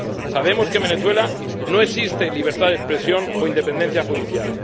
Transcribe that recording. Sabemos que en Venezuela no existe libertad de expresión o independencia judicial.